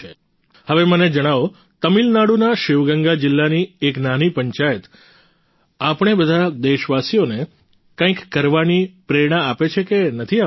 હવે મને જણાવો તમિલનાડુના શિવગંગા જિલ્લાની એક નાની પંચાયત આપણે બધા દેશવાસીઓને કંઈક કરવાની પ્રેરણા આપે છે કે નથી આપતી